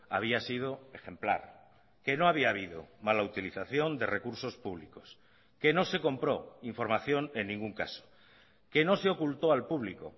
había sido ejemplar que no había habido mala utilización de recursos públicos que no se compró información en ningún caso que no se ocultó al público